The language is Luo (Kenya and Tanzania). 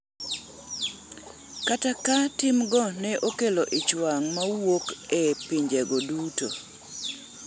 kata ka timgo ne okelo ichwang' mawuok e pinjego duto